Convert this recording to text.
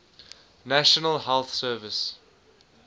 national health service